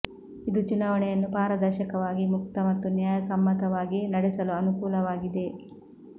ಇದು ಚುನಾವಣೆಯನ್ನು ಪಾರದರ್ಶಕವಾಗಿ ಮುಕ್ತ ಮತ್ತು ನ್ಯಾಯ ಸಮ್ಮತವಾಗಿ ನಡೆಸಲು ಅನುಕೂಲವಾಗಿದೆ